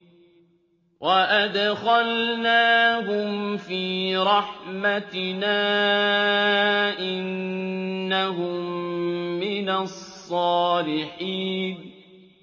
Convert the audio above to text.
وَأَدْخَلْنَاهُمْ فِي رَحْمَتِنَا ۖ إِنَّهُم مِّنَ الصَّالِحِينَ